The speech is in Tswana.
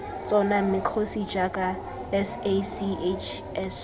tsona mme kgosi jaaka sachs